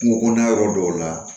Kungo kɔnɔna yɔrɔ dɔw la